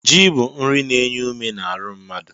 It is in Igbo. Ji bụ nri na-enye ume n'aru mmadụ.